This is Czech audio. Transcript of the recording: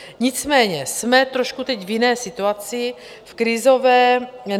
Nicméně jsme trošku teď v jiné situaci, v krizové.